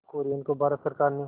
कुरियन को भारत सरकार ने